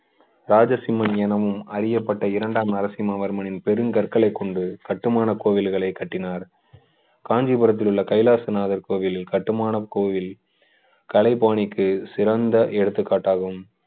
ராஜசிம்மன் எனும் அறியப்பட்ட இரண்டாம் நரசிம்மவர்மனின் பெருங்கற்களை கொண்டு கட்டுமான கோவில்களை கட்டினார் காஞ்சிபுரத்தில் உள்ள கைலாசநாதர் கோவில் கட்டுமான கோவில் கலைபாணிக்கு சிறந்த எடுத்துக்காட்டாகும்